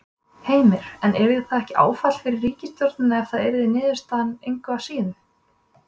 Heimir: En yrði það ekki áfall fyrir ríkisstjórnina ef það yrði niðurstaðan engu að síður?